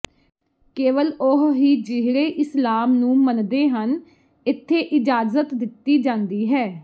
ਕੇਵਲ ਉਹ ਹੀ ਜਿਹੜੇ ਇਸਲਾਮ ਨੂੰ ਮੰਨਦੇ ਹਨ ਇੱਥੇ ਇਜਾਜ਼ਤ ਦਿੱਤੀ ਜਾਂਦੀ ਹੈ